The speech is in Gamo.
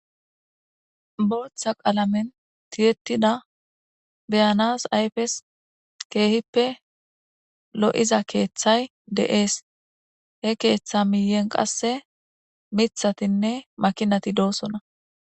booththa qalamen tiyettida beyanas ayfes keehippe lo7iza keeththay de7ees he keeththa miiyen qasse mithatinne makinati doosona